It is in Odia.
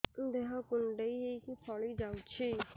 ଦେହ କୁଣ୍ଡେଇ ହେଇକି ଫଳି ଯାଉଛି